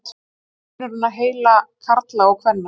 Hver er munurinn á heila karla og kvenna?